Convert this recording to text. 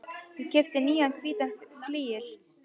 Ég keypti nýjan hvítan flygil.